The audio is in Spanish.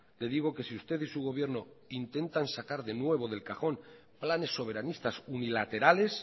le digo que si usted y su gobierno intentan sacar de nuevo del cajón planes soberanistas unilaterales